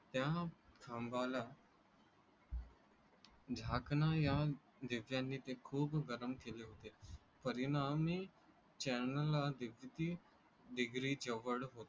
त्या खांबाला झाकणाऱ्या दिव्यांनी ते खूप गरम केले होते, परिणाम ही channel degree degree जवळ होते.